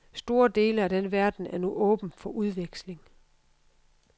Store dele af den verden er nu åben for udveksling.